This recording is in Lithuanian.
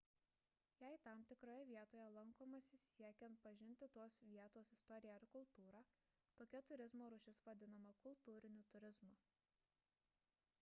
jei tam tikroje vietoje lankomasi siekiant pažinti tos vietos istoriją ir kultūrą tokia turizmo rūšis vadinama kultūriniu turizmu